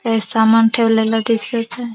हे सामान ठेवलेल दिसत आहे.